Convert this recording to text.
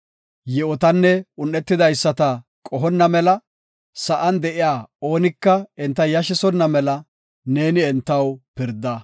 Yi7otanne un7etidaysata qohonna mela, sa7an de7iya oonika enta yashisonna mela, neeni entaw pirda.